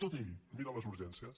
tot ell mira les urgències